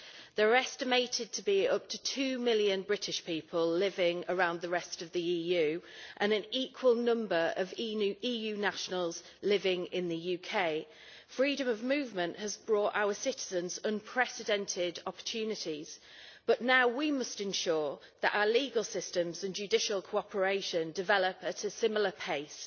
There are estimated to be up to two million British people living around the rest of the EU and an equal number of EU nationals living in the UK. Freedom of movement has brought our citizens unprecedented opportunities, but now we must ensure that our legal systems and judicial cooperation develop at a similar pace,